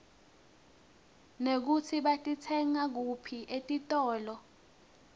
nekutsi batitsenga kuphi etitolo